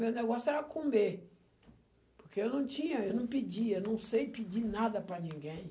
Meu negócio era comer, porque eu não tinha, eu não pedia, não sei pedir nada para ninguém.